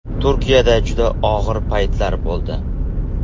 Turkiyada juda og‘ir paytlar bo‘ldi.